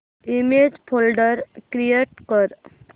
image folder create कर